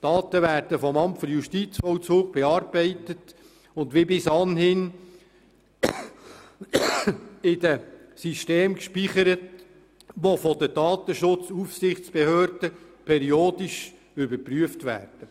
Die Daten werden vom Amt für Justizvollzug bearbeitet und wie bis anhin in den Systemen gespeichert, die von der Datenschutzaufsichtsbehörde periodisch überprüft werden.